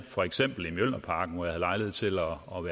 for eksempel mjølnerparken hvor jeg havde lejlighed til